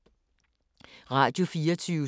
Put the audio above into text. Radio24syv